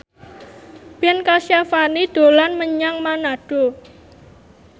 Ben Kasyafani dolan menyang Manado